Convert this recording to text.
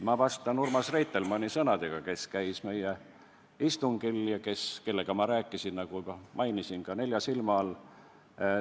Ma vastan Urmas Reitelmanni sõnadega, kes käis meie istungil ja kellega ma rääkisin, nagu juba mainisin, ka nelja silma all.